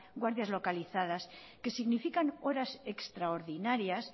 guardias localizadas que significan horas extraordinarias